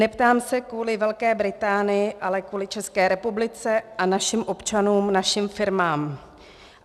Neptám se kvůli Velké Británii, ale kvůli České republice, našim občanům a našim firmám.